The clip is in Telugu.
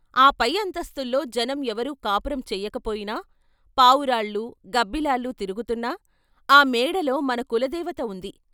ఆ పై అంతస్తుల్లో జనం ఎవరూ కాపురం చెయ్యకపోయినా, పావురాళ్ళు, గబ్బిలాలు తిరుగుతున్నా ఆ మేడలో మన కులదేవత ఉంది.